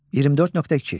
24.2.